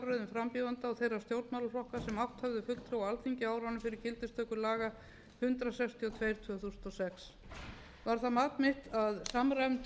frambjóðenda og þeirra stjórnmálaflokka sem átt höfðu fulltrúa á alþingi á árum fyrir gildistöku laga hundrað sextíu og tvö tvö þúsund og sex var það mat mitt að samræmd